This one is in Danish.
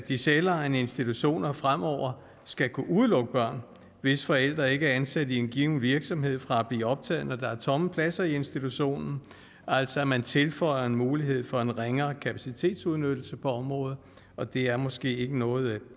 de selvejende institutioner fremover skal kunne udelukke børn hvis forældre ikke er ansat i en given virksomhed fra at blive optaget når der er tomme pladser i institutionen altså at man tilføjer en mulighed for en ringere kapacitetsudnyttelse på området og det er måske ikke noget